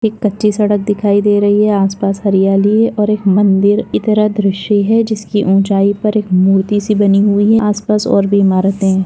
एक कच्ची सड़क दिखाई दे रही है आस-पास हरियाली है और एक मन्दिर की तरह दृश्य है जिसकी ऊंचाई पर एक मूर्ति सी बनी हुई है आस-पास और भी इमारते है।